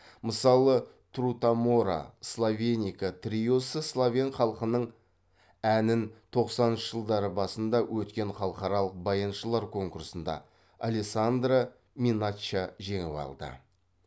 мысалы трутамора словеника триосы словен халқының әнін тоқсаныншы жылдары басында өткен халықаралық баяншылар конкурсында алессандра миначча жеңіп алды